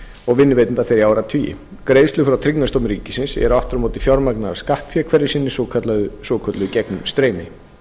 og vinnuveitenda þeirra í áratugi greiðslur frá tryggingastofnun ríkisins eru aftur á móti fjármagnaðar af skattfé hverju sinni svokallað gegnumstreymi